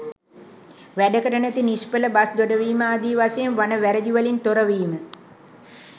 වැඩකට නැති නිෂ්ඵල බස් දෙඩවීම ආදී වශයෙන් වන වැරදි වලින් තොරවීම